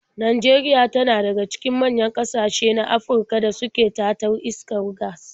Najeria tana daga cikin manyan ƙasashe na Afirka da suke tatar iskar gas.